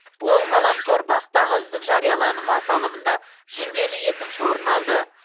ол ғаламтор бақ тағы үздік жарияланым аталымында жүлделі екінші орын алды